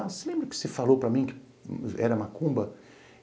Você lembra que você falou para mim que era macumba?